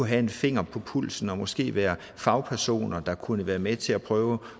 have en finger på pulsen og måske være fagpersoner der kunne være med til at prøve